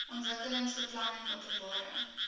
ontwikkelingsbeplanningopenbare